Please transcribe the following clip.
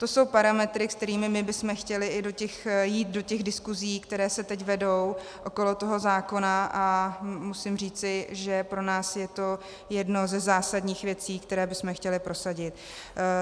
To jsou parametry, se kterými my bychom chtěli jít do těch diskusí, které se teď vedou okolo toho zákona, a musím říci, že pro nás je to jedna ze zásadních věcí, které bychom chtěli prosadit.